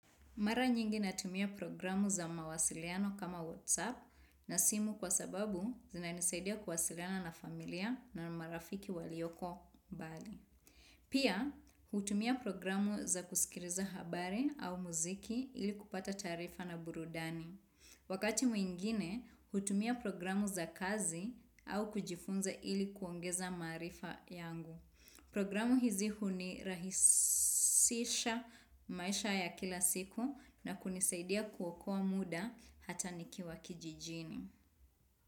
Mara nyingi natumia programu za mawasiliano kama WhatsApp na simu kwa sababu zina nisaidia kuwasiliana na familia na marafiki walioko mbali. Pia, hutumia programu za kusikiriza habari au muziki ili kupata tarifa na burudani. Wakati mwingine, hutumia programu za kazi au kujifunza ili kuongeza marifa yangu. Programu hizi hunirahisisha maisha ya kila siku na kunisaidia kuokoa muda hata nikiwa kijijini.